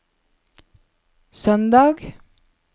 søndag